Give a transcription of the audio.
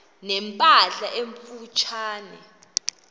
ne mpahla emfutshane